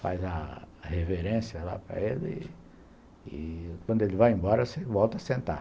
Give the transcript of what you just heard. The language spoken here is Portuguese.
Faz a reverência lá para ele e quando ele vai embora, você volta a sentar.